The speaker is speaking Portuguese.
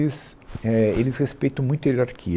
É, eles respeitam muito a hierarquia.